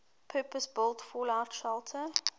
purpose built fallout shelter